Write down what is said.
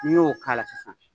N'i y'o k'a la sisan